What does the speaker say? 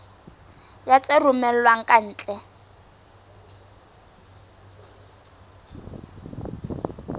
ya tse romellwang ka ntle